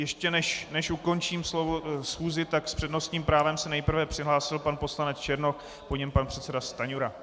Ještě než ukončím schůzi, tak s přednostním právem se nejprve přihlásil pan poslanec Černoch, po něm pan předseda Stanjura.